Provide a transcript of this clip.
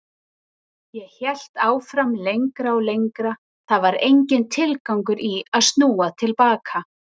Ég hélt áfram lengra og lengra, það var enginn tilgangur í að snúa til baka.